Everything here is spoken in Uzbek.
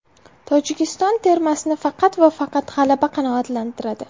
Tojikiston termasini faqat va faqat g‘alaba qanoatlantiradi.